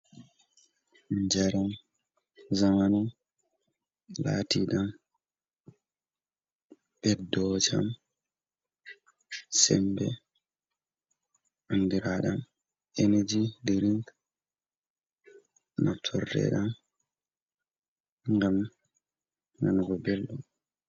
Jaram zamani lati ɗam ɓeddo jam sembe andiraɗam energy diring naftorteɗam gam nanugo belɗum.